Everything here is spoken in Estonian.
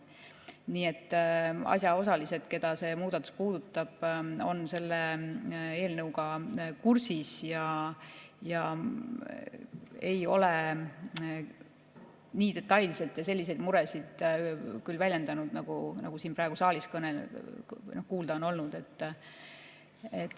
Nii et asjaosalised, keda see muudatus puudutab, on selle eelnõuga kursis ega ole nii detailselt selliseid muresid küll väljendanud, nagu siin saalis praegu kuulda on olnud.